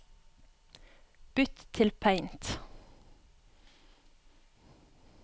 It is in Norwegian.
Bytt til Paint